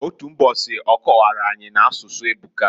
Otu mbosi, ọ kọwara anyi, n'asụsụ ebuka.